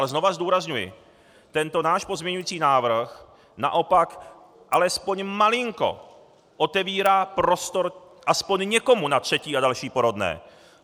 Ale znovu zdůrazňuji: Tento náš pozměňující návrh naopak alespoň malinko otevírá prostor alespoň někomu na třetí a další porodné.